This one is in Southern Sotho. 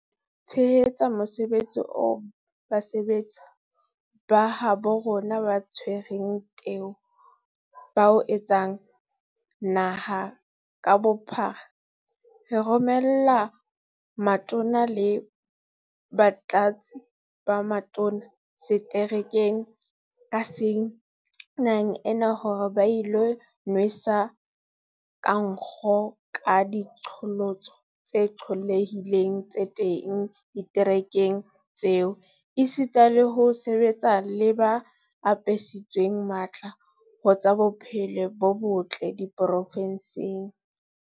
E le ho tshehetsa mosebetsi oo basebetsi ba habo rona ba tshwereng teu ba o etsang naha ka bophara, re romela Matona le Batlatsi ba Matona seterekeng ka seng naheng ena hore ba ilo inwesa ka nkgo ka diqholotso tse qollehileng tse teng diterekeng tseo, esita le ho sebetsa le ba apesitsweng matla ho tsa bophelo bo botle diprovenseng.